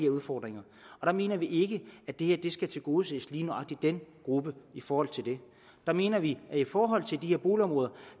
udfordringer og der mener vi ikke at det her skal tilgodese lige nøjagtig den gruppe i forhold til det der mener vi at i forhold til de her boligområder